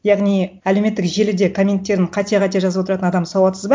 яғни әлеуметтік желіде комменттерің қате қате жазып отыратын адам сауатсыз ба